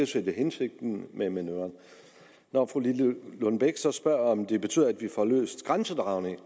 set hensigten med manøvren når fru gitte lillelund bech så spørger om det betyder at vi får løst grænsedragningen